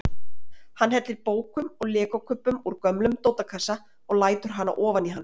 Hann hellir bókum og legokubbum úr gömlum dótakassa og lætur hana ofan í hann.